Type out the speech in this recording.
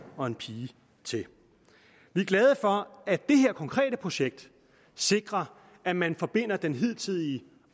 og en pige til vi er glade for at det her konkrete projekt sikrer at man forbinder den hidtidige